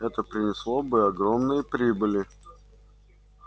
это принесло бы огромные прибыли